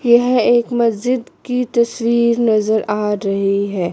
यह एक मस्जिद की तस्वीर नज़र आ रही है।